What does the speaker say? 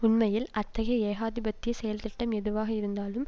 உண்மையில் அத்தகைய ஏகாதிபத்திய செயல்திட்டம் எதுவாக இருந்தாலும்